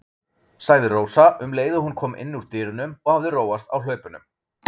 sagði Rósa um leið og hún kom inn úr dyrunum og hafði róast á hlaupunum.